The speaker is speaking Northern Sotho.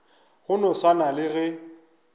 go no swana le ge